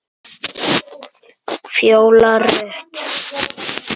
Fjóla Rut.